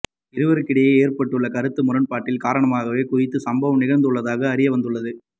இருவருக்கிடையில் ஏற்பட்டுள்ள கருத்து முறன்பாட்டின் காரணமாகவே குறித்த சம்பவம் நிகழ்ந்துள்ளதாக அறியவந்துள்ளது